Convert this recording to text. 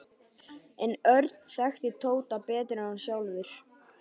En Örn þekkti Tóta betur en hann sjálfur.